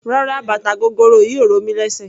Rárá bàtà gogoro yìí ò ro mí lésè.